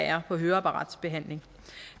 er på høreapparatsbehandling